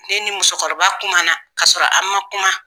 Ne ni muso kɔrɔba kuma na ka sɔrɔ an man kuma.